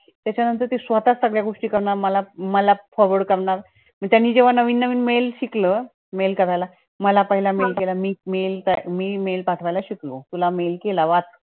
त्याचा नंतर ती स्वतःच सगळ्या गोष्टी करणार, मला मला forward करणार. त्यांनी जेव्हा नवीन नवीन mails शिकले mail करायला, मला पहिला mail केला, मी mail मी mail पाठवायला शिकलो, तुला mail केला वाच.